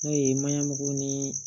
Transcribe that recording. N'o ye maɲɔko ni